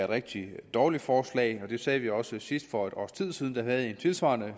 rigtig dårligt forslag og det sagde vi også sidst for et års tid siden da vi havde en tilsvarende